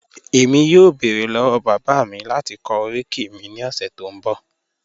ẹ̀mí yọ̀ọ́ bẹ́ẹ̀rẹ̀ lọ́wọ́ bàbá mi láti kọ̀ oríkì mi ni ọṣẹ tó n bọ̀.